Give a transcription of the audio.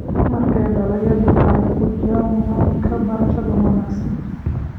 Marka dalagyadu ay ku jiraan nidaamka beerashada wanaagsan.